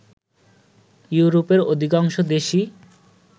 ইউরোপের অধিকাংশ দেশই